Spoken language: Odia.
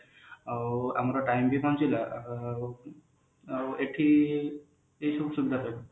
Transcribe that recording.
ଆଉ ଆମର time ବି ବଞ୍ଚିଲା ଆଉ ଆଉ ଏଠି ଏଇସବୁ ସୁବିଧା ପାଇଲେ